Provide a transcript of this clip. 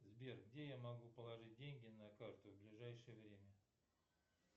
сбер где я могу положить деньги на карту в ближайшее время